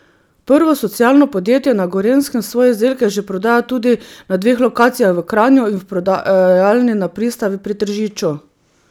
Prvo socialno podjetje na Gorenjskem svoje izdelke že prodaja tudi na dveh lokacijah v Kranju in v prodajalni na Pristavi pri Tržiču.